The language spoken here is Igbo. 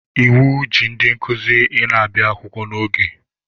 Iwu ji ndị nkuzi ị na-abịa akwụkwọ n'oge.